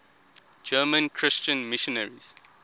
german christian missionaries